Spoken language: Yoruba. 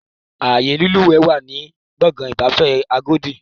Ààyè lílùwẹ̀ wà ní Gbọ̀ngán ìgbafẹ́ agodi